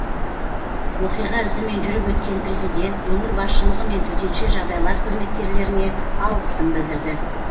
оқиға ізімен жүріп өткен президент өңір басшылығы мен төтенше жағдайлар қызметкерлеріне алғысын білдірді